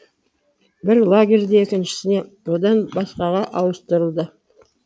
бір лагерден екіншісіне одан басқаға ауыстырылды